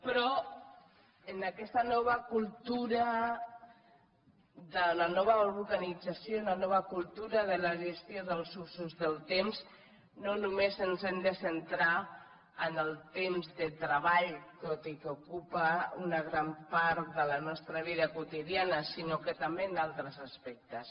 però en aquesta nova cultura de la nova organització i la nova cultura de la gestió dels usos del temps no només ens hem de centrar en el temps de treball tot i que ocupa una gran part de la nostra vida quotidiana sinó que també en altres aspectes